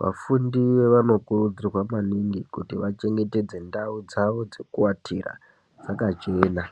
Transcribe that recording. vafundi vanokurudzirwa maningi kuti vachengetedze ndau dzavo dzekuatira dzakachena.